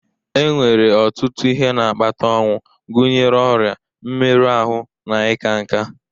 Enwere ọtụtụ ihe na-akpata ọnwụ, gụnyere ọrịa, mmerụ ahụ, na ịka nká